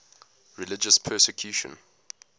religious persecution